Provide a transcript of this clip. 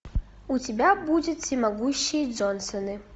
у тебя будет всемогущие джонсоны